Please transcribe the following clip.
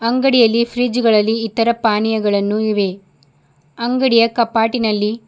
ಅಂಗಡಿಯಲ್ಲಿ ಫ್ರಿಜ್ ಗಳಲ್ಲಿ ಇತರ ಪಾನೀಯಗಳನ್ನು ಇವೆ ಅಂಗಡಿಯ ಕಪಾಟಿನಲ್ಲಿ--